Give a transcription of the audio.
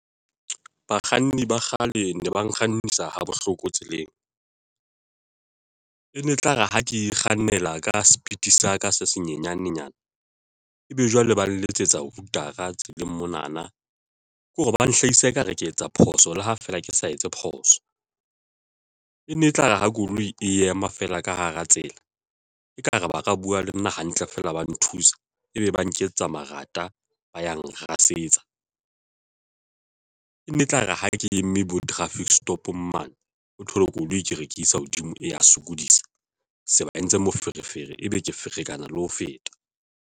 Bakganni ba kgale ne ba nkgannisa ha bohloko tseleng e ne e tlare ha ke kgannela ka speed sa ka se senyenyane nyana ebe jwale ba nletsetsa hoooter-a tseleng mona na ke hore ba hlahisa ekare ke etsa phoso le ha feela ke sa etse phoso. E ne etlare ha koloi e ema fela ka hara tsela, ekare ba ka bua le nna hantle feela, ba nthusa ebe ba nketsetsa marata ba ya nrasetsa e nne e tlare ha ke eme bo traffic stop-ng mane o thole koloi ke re ke isa hodimo, e ya sokodisa, se ba entse moferefere, ebe ke ferekana le ho feta.